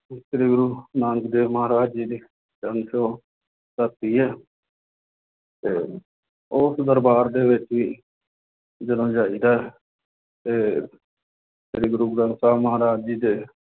ਸ੍ਰੀ ਗੁਰੂ ਨਾਨਕ ਦੇਵ ਮਹਾਰਾਜ ਜੀ ਦੀ ਚਰਨ ਛੂਹ ਧਰਤੀ ਹੈ ਤੇ ਉਸ ਦਰਬਾਰ ਦੇ ਵਿੱਚ ਵੀ ਜਦੋਂ ਜਾਈਦਾ ਹੈ ਤੇ ਸ੍ਰੀ ਗੁਰੂ ਗ੍ਰੰਥ ਸਾਹਿਬ ਮਹਾਰਾਜ ਜੀ ਦੇ